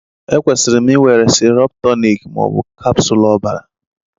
Ekwesịrị m ị were sirup tunic ma ọ bụ capsule ọbara?